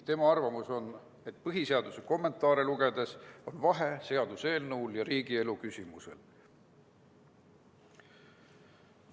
Tema arvamus on, et põhiseaduse kommentaare lugedes on seaduseelnõul ja muul riigielu küsimusel vahe.